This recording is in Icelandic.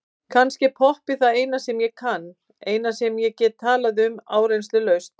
Kannski er poppið það eina sem ég kann, eina sem ég get talað um áreynslulaust.